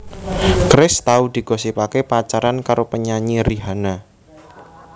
Chris tau digosipaké pacaran karo penyanyi Rihanna